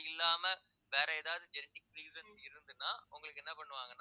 அது இல்லாம வேற ஏதாவது genetic reason இருந்ததுன்னா உங்களுக்கு என்ன பண்ணுவாங்கன்னா